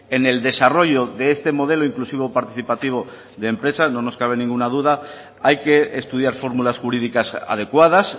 en el desarrollo de este modelo inclusivo participativo de empresas no nos cabe ninguna duda hay que estudiar fórmulas jurídicas adecuadas